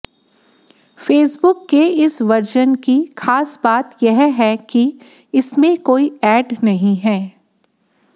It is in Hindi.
फेसबुक के इस वर्जन की खास बात यह है कि इसमें कोई ऐड नहीं है